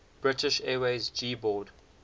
british airways g boad